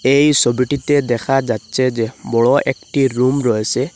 এই সোবিটিতে দেখা যাচ্চে যে বড় একটি রুম রয়েসে।